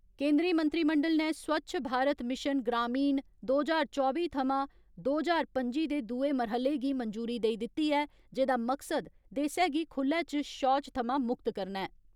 केन्द्री मंत्रिमंडल ने स्वच्छ भारत मिशन ग्रामीण दो ज्हार चौबी थमां दो ज्हार पं'जी दे दूए मरह्ले गी मंजूरी देई दिती ऐ जेहदा मकसद देसै गी खुल्ले च शौच थमां मुक्त करना ऐ।